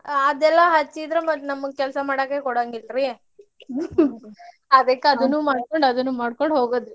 ಅದೆಲ್ಲಾ ಹಚ್ಚಿದ್ರ ಮತ್ತ್ ನಮ್ಗ ಕೆಲ್ಸಾ ಮಾಡಾಕಕೋಡಂಗಿಲ್ರಿ ಅದಕ್ಕ್ ಅದನ್ನು ಮಾಡ್ಕೊಂಡ್ ಅದನ್ನು ಮಾಡ್ಕೊಂಡ್ ಹೋಗೋದ್ರಿ.